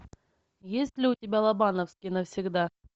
есть ли у тебя лобановский навсегда